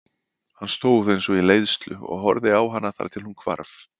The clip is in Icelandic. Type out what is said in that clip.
Hann stóð eins og í leiðslu og horfði á hana þar til hún hvarf.